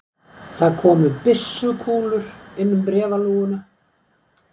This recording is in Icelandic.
Það komu byssukúlur inn um bréfalúguna.